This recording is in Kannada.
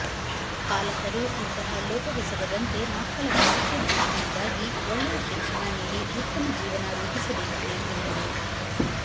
ಪಾಲಕರು ಇಂತಹ ಲೋಪವೆಸಗದಂತೆ ಮಕ್ಕಳ ಭವಿಷ್ಯ ದೃಷ್ಟಿಯಿಂದಾಗಿ ಒಳ್ಳೆಯ ಶಿಕ್ಷಣ ನೀಡಿ ಉತ್ತಮ ಜೀವನ ರೂಪಿಸಬೇಕಿದೆ ಎಂದರು